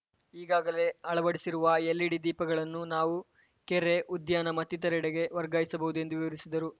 ಈಗಾಗಲೇ ಅಳವಡಿಸಿರುವ ಎಲ್‌ಇಡಿ ದೀಪಗಳನ್ನು ನಾವು ಕೆರೆ ಉದ್ಯಾನ ಮತ್ತಿತರೆಡೆಗೆ ವರ್ಗಾಯಿಸಬಹುದು ಎಂದು ವಿವರಿಸಿದರು